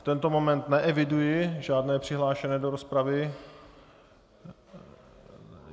V tento moment neeviduji žádné přihlášené do rozpravy.